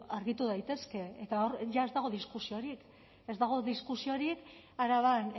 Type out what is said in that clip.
argitu daitezke eta hor ja ez dago diskusiorik ez dago diskusiorik araban